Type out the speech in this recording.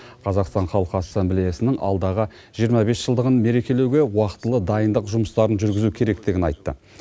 қазақстан халқы ассамблеясының алдағы жиырма бес жылдығын мерекелеуге уақытылы дайындық жұмыстарын жүргізу керектігін айтты